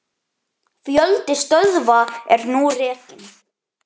Fjöldi stöðva er nú rekinn.